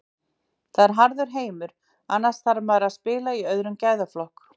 Þetta er harður heimur, annars þarf maður að spila í öðrum gæðaflokk.